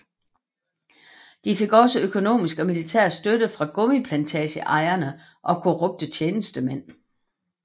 De fik også økonomisk og militær støtte fra gummiplantageejere og korrupte tjenestemænd